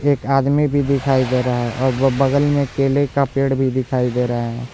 एक आदमी भी दिखाई दे रहा है और वह बगल में केले का पेड़ भी दिखाई दे रहा है।